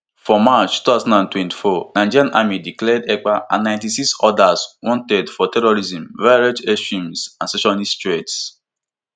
for march two thousand and twenty-four nigerian army declare ekpa and ninety-six oda wanted for terrorism violent extremism and secessionist threats